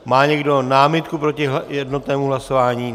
Má někdo námitku proti jednotnému hlasování?